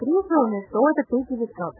фото